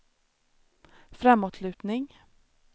framåtlutning